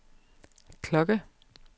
klokke